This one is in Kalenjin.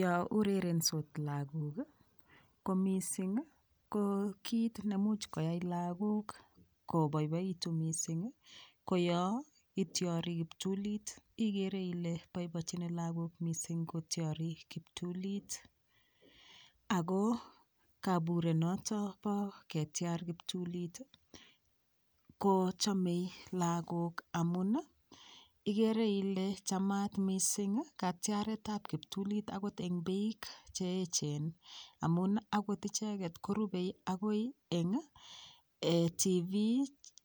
Yo urerensot lagok ko mising ko kit nemuch koyai lagok koboiboitu mising ko yo ityori kiptulit igere Ile boiboichini lagok mising kotyori kiptulit Ako kaburet noto bo ketyar kiptulit kochomei lagok amun igere Ile Chamat mising katyaret ab kiptulit akot eng piik cheechen amun akot icheget korubei akoi eng TV